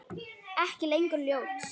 Ekki lengur ljót.